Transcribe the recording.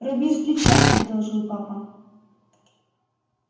руби сплеча предложил папа